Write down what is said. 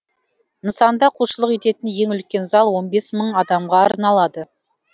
нысанда құлшылық ететін ең үлкен зал он бес мың адамға арналады